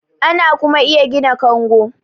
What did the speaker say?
ana kuma iya gina kango